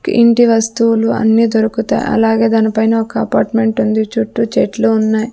ఇంటి వస్తువులు అన్నీ దొరుకుతాయ్ అలాగే దానిపైన ఒక అపార్ట్మెంటుంది ఉంది చుట్టూ చెట్లు ఉన్నాయ్.